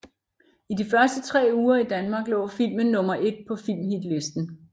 I de første tre uger i Danmark lå filmen nummer et på filmhitlisten